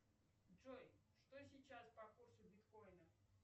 джой что сейчас по курсу биткоина